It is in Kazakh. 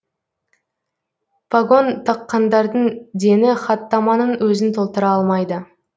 пагон таққандардың дені хаттаманың өзін толтыра алмайды